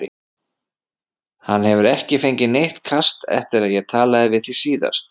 Hann hefur ekki fengið neitt kast eftir að ég talaði við þig síðast